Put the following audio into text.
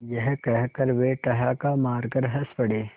यह कहकर वे ठहाका मारकर हँस पड़े